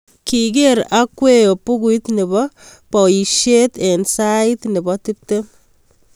kiker Agueo bukuit ne bo baoishe eng sait ne bo tiptem.